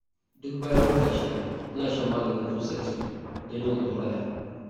Duk bayan wata 6, ina shan maganin tsutsar ciki, don yin ɗauraya.